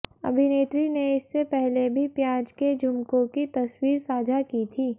अभिनेत्री ने इससे पहले भी प्याज के झूमकों की तस्वीर साझा की थी